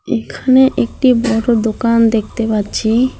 এখানে একটি বড়ো দোকান দেখতে পাচ্ছি।